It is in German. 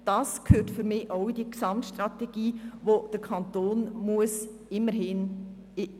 Dies sind Apps, die man auf das Smartphone herunterladen kann.